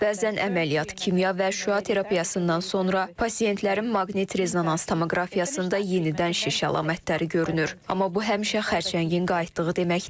Bəzən əməliyyat, kimya və şüa terapiyasından sonra pasientlərin maqnit rezonans tomoqrafiyasında yenidən şiş əlamətləri görünür, amma bu həmişə xərçəngin qayıtdığı demək deyil.